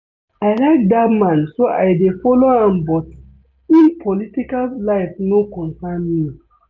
I like dat man so I dey follow am but im political life no concern me